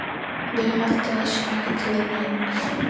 Ég held að það sé ekki til neins.